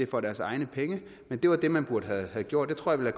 for deres egne penge det var det man burde have gjort det tror jeg